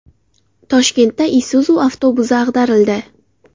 Toshkentda Isuzu avtobusi ag‘darildi.